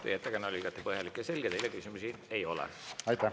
Teie ettekanne oli igati põhjalik ja selge, teile küsimusi ei ole.